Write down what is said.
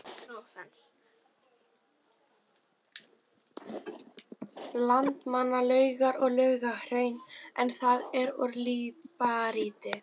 Landmannalaugar og Laugahraun, en það er úr líparíti.